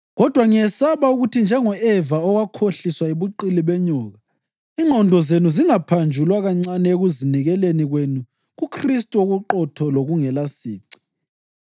Kodwa ngiyesaba ukuthi njengo-Eva owakhohliswa yibuqili benyoka, ingqondo zenu zingaphanjulwa kancane ekuzinikeleni kwenu kuKhristu okuqotho lokungelasici.